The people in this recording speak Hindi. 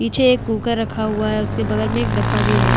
पीछे एक कुकर रखा हुआ है उसके बगल में एक डब्बा भी है।